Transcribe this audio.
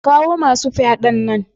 Ka kawo masu fyaɗan nan.